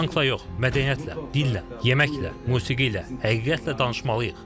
Tankla yox, mədəniyyətlə, dillə, yeməklə, musiqi ilə, həqiqətlə danışmalıyıq.